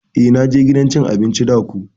Eh na je gidan cin abinci da ko.